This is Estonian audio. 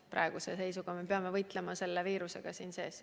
Praeguse seisuga peame võitlema viirusega oma riigi sees.